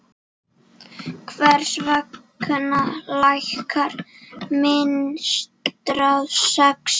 Hvers vegna lækkar myntráð vexti?